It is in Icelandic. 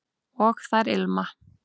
og þær ilma